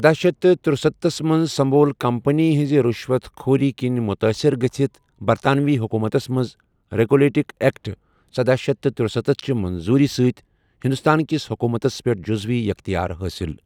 دَہ شیتھ تہٕ ترٛسَتتھ منٛز سنٛبھول کمپنی ہنزِ رُشوَت خوٗری كِنۍ مُتٲثر گٔژھِتھ برطانوی حکوٗمتَس منز ریگولیٹنگ ایکٹ سدہَ شیتھ ترٛسَتتھ چہِ منظوٗری سۭتۍ ہندوستانٕ كِس حكومتس پیٹھ جُزوی اختیار حٲصِل ۔